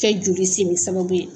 Kɛ joli simi sababu ye